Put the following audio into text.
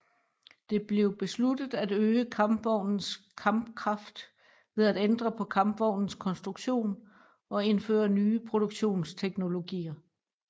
Det blev besluttet at øge kampvognens kampkraft ved at ændre på kampvognens konstruktion og indføre nye produktionsteknologier